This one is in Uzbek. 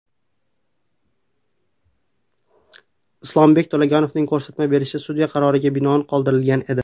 Islombek To‘laganovning ko‘rsatma berishi sudya qaroriga binoan qoldirilgan edi.